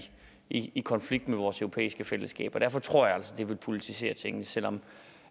i konflikt med vores europæiske fællesskab derfor tror jeg altså at det vil politisere tingene selv om